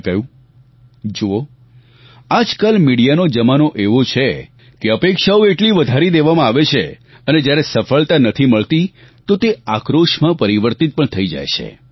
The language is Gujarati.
મેં કહ્યું જુઓ આજકાલ મીડિયાનો જમાનો એવો છે કે અપેક્ષાઓ એટલી વધારી દેવામાં આવે છે અને જ્યારે સફળતા નથી મળતી તો તે આક્રોશમાં પરિવર્તિત પણ થઈ જાય છે